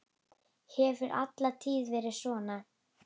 Hefur alla tíð verið svona.